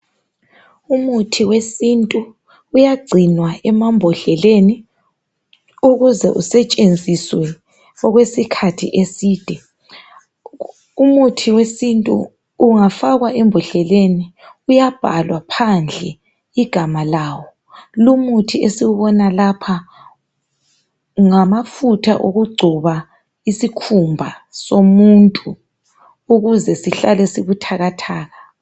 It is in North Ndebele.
Umuthi wesintu uyagcinwa emambodleleni ukuze usetshenziswe okwesikhathi eside. Umuthi wesintu ungafakwa embodleleni uyabhalwa phandle igama lawo. Lumuthi esiwubona lapha ngamafutha okugcoba isikhumba somuntu ukuze sihlale sibuthakathaka.